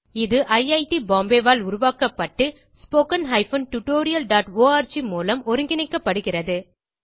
இது ஐட் பாம்பே ஆல் உருவாக்கப்பட்டு httpspoken tutorialorg மூலம் ஒருங்கிணைக்கப்படுகிறத